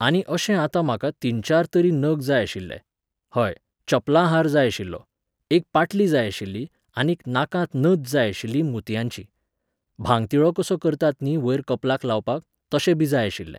आनी अशें आता म्हाका तीनचार तरी नग जाय आशिल्ले. हय, चपलां हार जाय आशिल्लो, एक पाटली जाय आशिल्ली आनीक नाकांत नथ जाय आशिल्ली मोतयांची. भांगतिळो तसो करतात न्ही वयर कपलाक लावपाक, तशें बी जाय आशिल्लें.